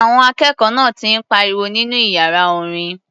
Àwọn akẹ́kọ̀ọ́ náà ti ń pariwo nínú iyàra orin.